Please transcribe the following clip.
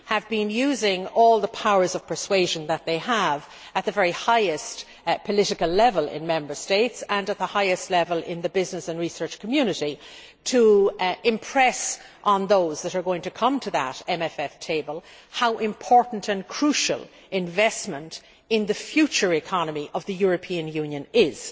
been using all the powers of persuasion that I have at the very highest political level in Member States, and at the highest level in the business and research community, to impress on those who are going to come to that MFF table how crucial investment in the future economy of the European Union is.